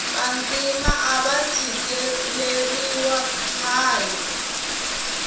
vantima ava tshikeleriwa khale